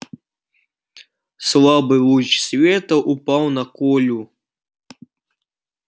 слабый луч света упал на колю